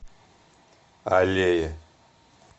аллея